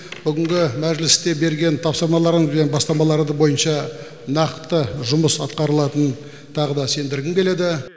бүгінгі мәжілісте берген тапсырмаларыңыз бен бастамаларды бойынша нақты жұмыс атқарылатынын тағы да сендіргім келеді